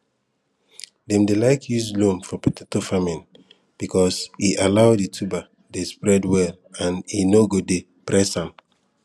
dem dey like use loam for potato farming because e allow di tuber dey spread well and e nor go dey press am